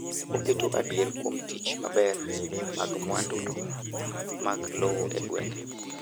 oketo adier kuom tich maber mag mwandu mag lowo e gwenge